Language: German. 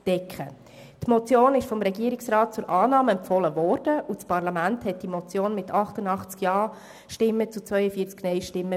Die Motion wurde vom Regierungsrat zur Annahme empfohlen und das Parlament befürwortete sie mit 88 Ja- gegen 42 Nein-Stimmen.